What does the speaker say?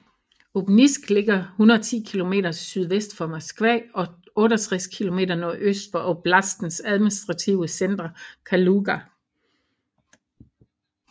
Obninsk ligger 110 km sydvest for Moskva og 68 km nordøst for oblastens administrative center Kaluga